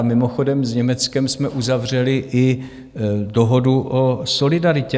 A mimochodem, s Německem jsme uzavřeli i dohodu o solidaritě.